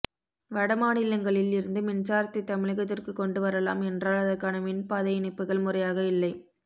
வட மாநிலங்களில் இருந்து மின்சாரத்தை தமிழகத்திற்கு கொண்டு வரலாம் என்றால் அதற்கான மின் பாதை இணைப்புகள் முறையாக இல்லை